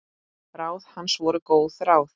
Ráð hans voru góð ráð.